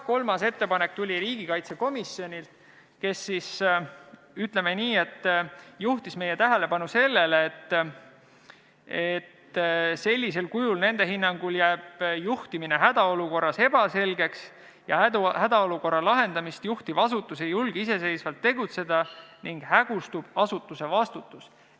Kolmas ettepanek tuli riigikaitsekomisjonilt, kes siis, ütleme nii, juhtis meie tähelepanu sellele, et sellisel kujul jääb nende hinnangul juhtimine hädaolukorras ebaselgeks, hädaolukorra lahendamist juhtiv asutus ei julge iseseisvalt tegutseda ning hägustub asutuse vastutus.